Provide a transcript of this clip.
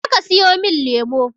Je ka siyomin lemo!